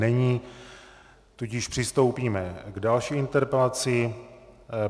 Není, tudíž přistoupíme k další interpelaci.